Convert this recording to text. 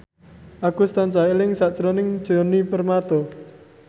Agus tansah eling sakjroning Djoni Permato